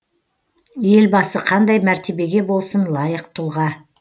елбасы қандай мәртебеге болсын лайық тұлға